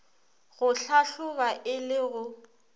go hlahloba e le go